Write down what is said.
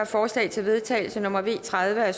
forslag til vedtagelse nummer v en og tredive af